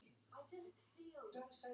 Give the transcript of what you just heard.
En svona er sportið orðið.